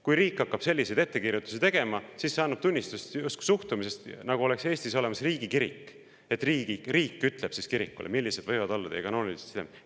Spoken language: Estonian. Kui riik hakkab selliseid ettekirjutusi tegema, siis see annab justkui tunnistust suhtumisest, nagu oleks Eestis olemas riigikirik, et riik ütleb kirikule, millised võivad olla selle kanoonilised sidemed.